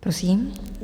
Prosím.